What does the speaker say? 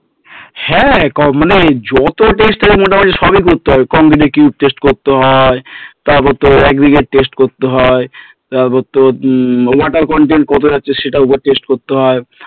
হ্যাঁ মানে যত পরিস্কার আছে আছে মোটামুটি সবই করতে হবে করতে হয় তারপরে তোর করতে হয় তারপরে তোর water content কত আছে সেটা test করতে হয়